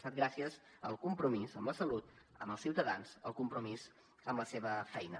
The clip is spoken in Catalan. ha estat gràcies al compromís amb la salut amb els ciutadans el compromís amb la seva feina